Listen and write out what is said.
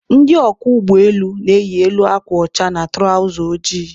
Ndị ọkwọ ụgbọ elu na-eyi elu akwa ọcha na tụrawza ojii.